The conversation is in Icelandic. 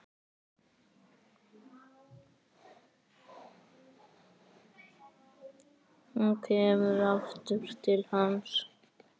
Hún kemur aftur til hans.